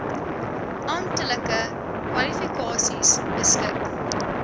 amptelike kwalifikasies beskik